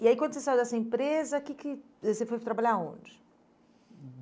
E aí quando você saiu dessa empresa, que que você você foi trabalhar aonde?